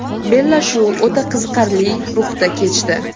Bellashuv o‘ta qiziqarli ruhda kechdi.